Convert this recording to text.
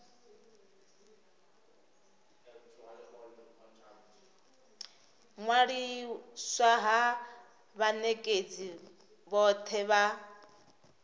ṅwaliswa ha vhanekedzi vhothe vha